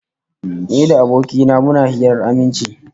Ni da aboki na muna hirar aminci